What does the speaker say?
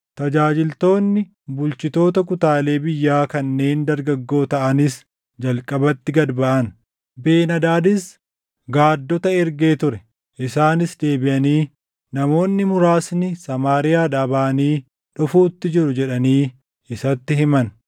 Tajaajiltoonni bulchitoota kutaalee biyyaa kanneen dargaggoo taʼanis jalqabatti gad baʼan. Ben-Hadaadis gaaddota ergee ture; isaanis deebiʼanii, “Namoonni muraasni Samaariyaadhaa baʼanii dhufuutti jiru” jedhanii isatti himan.